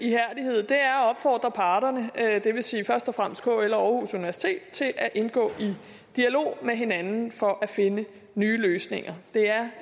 opfordre parterne det vil sige først og fremmest kl og universitet til at indgå i dialog med hinanden for at finde nye løsninger det er